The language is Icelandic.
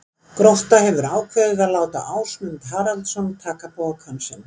Grótta hefur ákveðið að láta Ásmund Haraldsson taka pokann sinn.